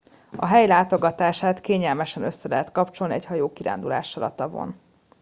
a hely látogatását kényelmesen össze lehet kapcsolni egy hajókirándulással a tavon